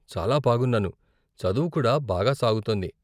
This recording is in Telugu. చాలా బాగున్నాను, చదువు కూడా బాగా సాగుతోంది.